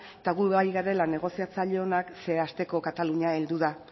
eta gu bai garela negoziatzaile onak zeren asteko katalunia heldu da